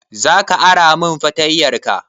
Za ka ara min fartanyarka?